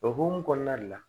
O hokumu kɔnɔna le la